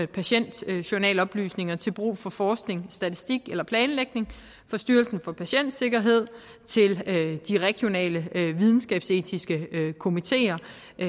patientjournaloplysninger til brug for forskning statistik eller planlægning fra styrelsen for patientsikkerhed til de regionale videnskabsetiske komitér